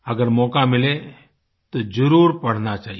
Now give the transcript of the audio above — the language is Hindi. अगर मौक़ा मिले तो ज़रूर पढ़ना चाहिए